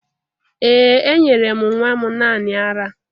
Ee, enyere m nwa m naanị ara